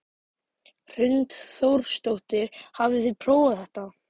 Hrund Þórsdóttir: Hafið þið prófað þetta?